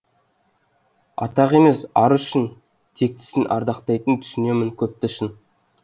атағы емес ары үшін тектісін ардақтайтын түсінемін көпті шын